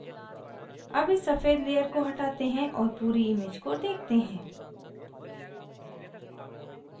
अब इस सफ़ेद layer को हटाते हैं और पूरी image को देखते हैं